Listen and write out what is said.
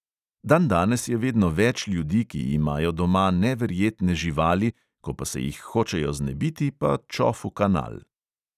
Dandanes je vedno več ljudi, ki imajo doma neverjetne živali, ko pa se jih hočejo znebiti, pa čof v kanal.